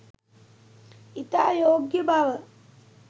ඉතා යෝග්‍ය බව